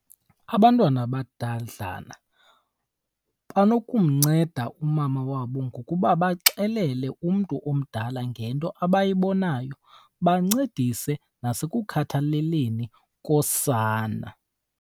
Abantwana abadadlana banokumnceda umama wabo ngokuba baxelele umntu omdala ngento abayibonayo, bancedise nasekukhathalaleni kosana.